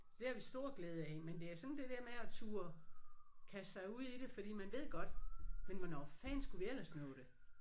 Så det har vi stor glæde af men det er sådan det der med at turde kaste sig ud i det fordi man ved godt men hvornår fanden skulle vi ellers nå det